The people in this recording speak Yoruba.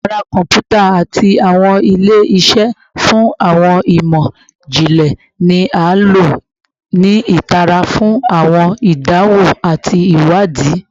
Yara kọnputa ati awọn ile-iṣẹ fun awọn imọ-jinlẹ ni a lo ni itara fun awọn idanwo ati iwadii